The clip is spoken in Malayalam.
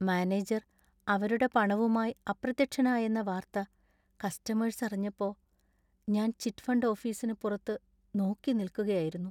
മാനേജർ അവരുടെ പണവുമായി അപ്രത്യക്ഷനായെന്ന വാർത്ത കസ്റ്റമേഴ്സ് അറിഞ്ഞപ്പോ ഞാൻ ചിറ്റ് ഫണ്ട് ഓഫീസിന് പുറത്ത് നോക്കിനിൽക്കുകയായിരുന്നു.